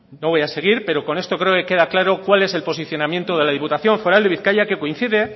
no voy a seguir pero con esto creo que queda claro cuál es el posicionamiento de la diputación foral de bizkaia que coincide